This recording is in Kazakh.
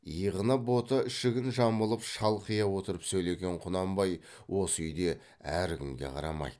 иығына бота ішігін жамылып шалқия отырып сөйлеген құнанбай осы үйде әркімге қарамайды